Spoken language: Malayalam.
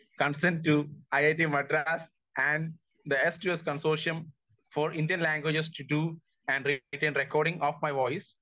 speaker 1 consent to IIT Madras and their to S consortium all Indian languages to Indian record of my voice